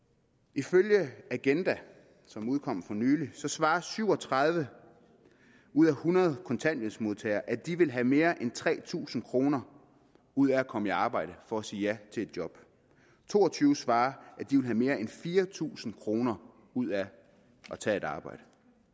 ifølge agenda som udkom for nylig svarer syv og tredive ud af hundrede kontanthjælpsmodtagere at de vil have mere end tre tusind kroner ud af at komme i arbejde for at sige ja til et job to og tyve svarer at de vil have mere end fire tusind kroner ud af at tage et arbejde